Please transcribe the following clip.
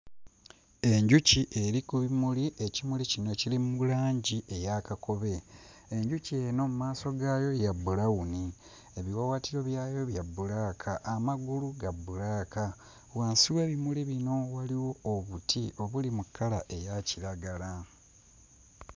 Enjuki eri ku bimuli, ekimuli kino kiri mu langi eya kakobe enjuki eno mmaaso gaayo ya bbulawuni, ebiwawaatiro byayo bya bbulaaka, amagulu ga bbulaaka. Wansi w'ebimuli bino waliwo obuti obuli mu kkala eya kiragala.